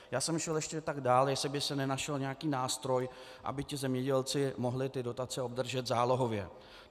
Já jsem šel ještě tak dál, jestli by se nenašel nějaký nástroj, aby ti zemědělci mohli ty dotace obdržet zálohově.